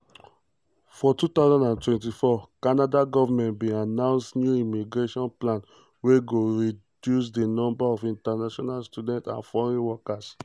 for 2024 canada govment bin announce newimmigration plan wey go reducedi number of international students and foreign workers.